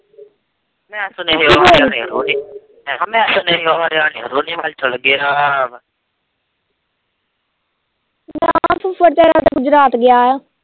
ਤੁ ਫੜ੍ਹਏ ਯਾਰ ਗੁਜਰਾਤ ਗਿਯਾਆ